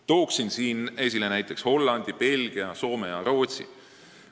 Toon esile näiteks Hollandi, Belgia, Soome ja Rootsi.